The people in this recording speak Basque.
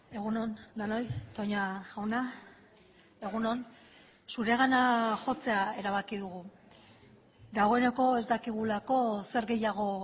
egun on denoi toña jauna egun on zuregana jotzea erabaki dugu dagoeneko ez dakigulako zer gehiago